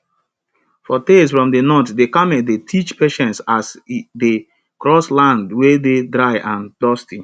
for tales from de north de camel dey teach patience as e dey cross land wey dey dry and dusty